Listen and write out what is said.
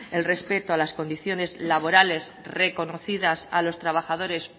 el respeto a las condiciones laborales reconocidas a los trabajadores